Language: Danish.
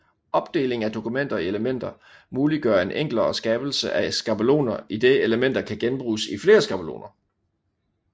Opdeling af dokumenter i elementer muliggør en enklere skabelse af skabeloner idet elementer kan genbruges i flere skabeloner